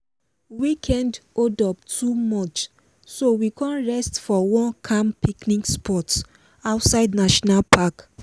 weekend holdup too much so we con rest for calm picnic spot outside national park.